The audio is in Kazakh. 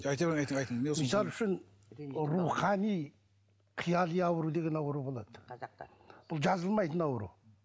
мысал үшін рухани қияли ауру деген ауру болады қазақта бұл жазылмайтын ауру